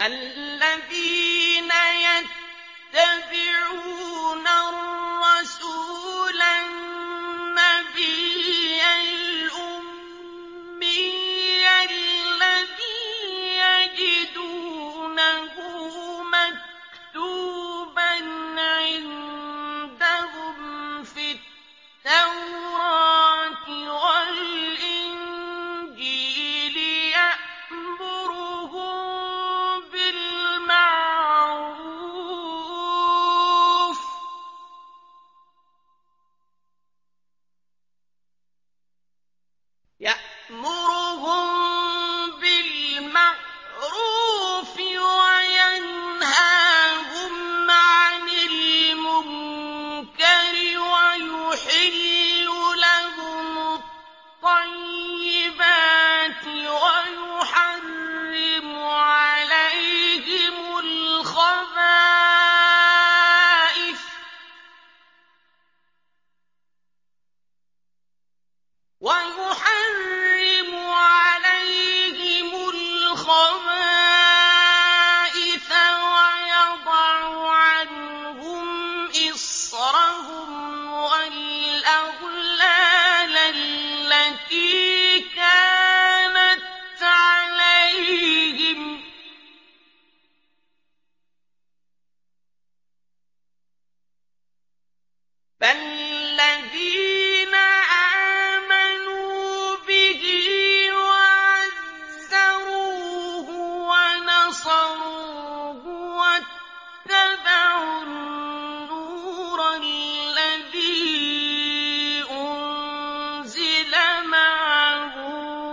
الَّذِينَ يَتَّبِعُونَ الرَّسُولَ النَّبِيَّ الْأُمِّيَّ الَّذِي يَجِدُونَهُ مَكْتُوبًا عِندَهُمْ فِي التَّوْرَاةِ وَالْإِنجِيلِ يَأْمُرُهُم بِالْمَعْرُوفِ وَيَنْهَاهُمْ عَنِ الْمُنكَرِ وَيُحِلُّ لَهُمُ الطَّيِّبَاتِ وَيُحَرِّمُ عَلَيْهِمُ الْخَبَائِثَ وَيَضَعُ عَنْهُمْ إِصْرَهُمْ وَالْأَغْلَالَ الَّتِي كَانَتْ عَلَيْهِمْ ۚ فَالَّذِينَ آمَنُوا بِهِ وَعَزَّرُوهُ وَنَصَرُوهُ وَاتَّبَعُوا النُّورَ الَّذِي أُنزِلَ مَعَهُ ۙ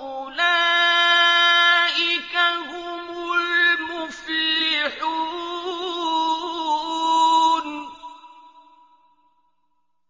أُولَٰئِكَ هُمُ الْمُفْلِحُونَ